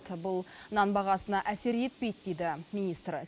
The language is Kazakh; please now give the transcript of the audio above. бұл нан бағасына әсер етпейді дейді министр